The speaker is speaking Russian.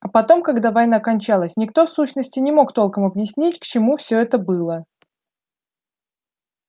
а потом когда война кончалась никто в сущности не мог толком объяснить к чему все это было